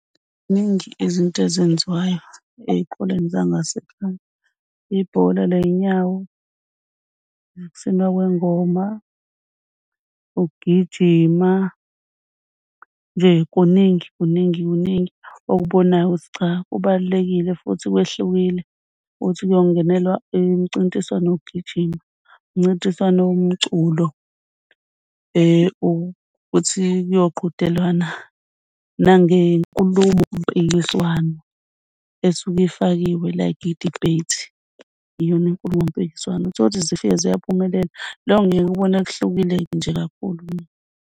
Ziningi izinto ezenziwayo ey'koleni zangasekhaya, ibhola lezinyawo ukusina kwengoma, ukugijima nje kuningi kuningi kuningi okubonayo ukuthi cha kubalulekile futhi kwehlukile. Ukuthi kuyongenelwa umcintiswano, wokugijima umncintiswano, umculo uthi kuyoqhudelwana nangenkulumompikiswano esuke ifakiwe, like i-debate, iyona inkulumo mpikiswano. Uthole ukuthu zifike ziyaphumelela lokho ngiye ngikubone kuhlukile nje kakhulu.